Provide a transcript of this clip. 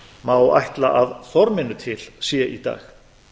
má ætla að af forminu til sé í dag